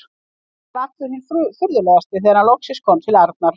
Tóti var allur hinn furðulegasti þegar hann loks kom til Arnar.